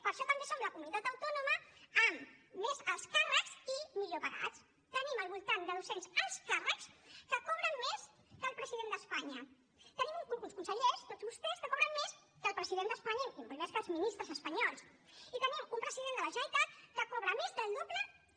per això també som la comunitat autònoma amb més alts càrrecs i millor pagats tenim al voltant de doscents alts càrrecs que cobren més que el president d’espanya tenim uns consellers tots vostès que cobren més que el president d’espanya i molt més que els ministres espanyols i tenim un president de la generalitat que cobra més del doble que